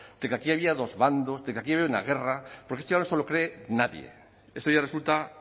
de que aquí había dos bandos de que aquí había una guerra porque esto ya no se lo cree nadie esto ya resulta